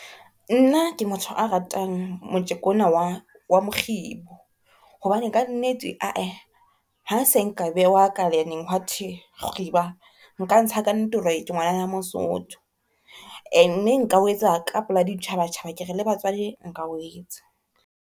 Nna ke motho a ratang motjeko ona wa mokgibo, hobane ka nnete ae ha se nka bewa kalaneng hwathwe kgiba nka ntsha kannete hore ke ngwanana Mosotho e ne nka o etsa ka pela ditjhabatjhaba ke re le batswadi nka o etsa.